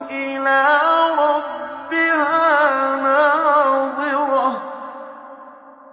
إِلَىٰ رَبِّهَا نَاظِرَةٌ